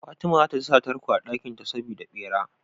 Fatima zata sa tarko a dakin ta saboda bera